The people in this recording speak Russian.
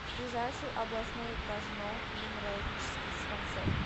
ближайший областной кожно венерологический диспансер